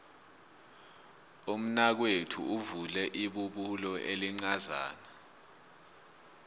umnakwethu uvule ibubulo elincazana